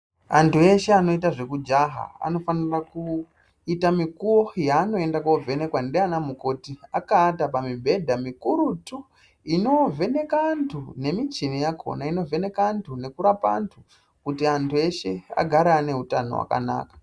Antu eshe anoita zvekujaha anofanira kuita mukuwo wanovhenekwa nana mukoti akaata pamubhedha mikurutu inovhenaka antu nemuchini wakona inovheneka antu nekurapa antu kuti antu eshe agare ane hutano hwakanaka.